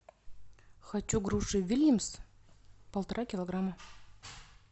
хочу груши вильямс полтора килограмма